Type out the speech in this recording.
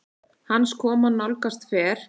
Hans koma nálgast fer